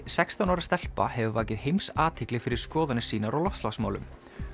sextán ára stelpa hefur vakið heimsathygli fyrir skoðanir sínar á loftslagsmálum